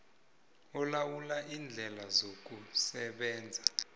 olawula iindlela zokusebenza